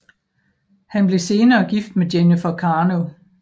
Han blev senere gift med Jennifer Carno